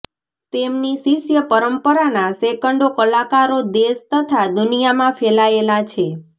તેમની શિષ્ય પરંપરાના સેંકડો કલાકારો દેશ તથા દુનિયામાં ફેલાયેલા છે